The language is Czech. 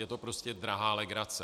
Je to prostě drahá legrace.